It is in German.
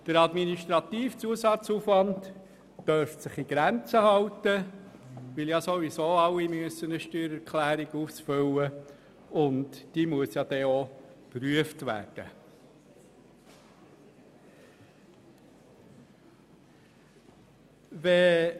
Der administrative Zusatzaufwand dürfte sich in Grenzen halten, weil ja sowieso alle eine Steuererklärung ausfüllen müssen, welche ja auch geprüft werden muss.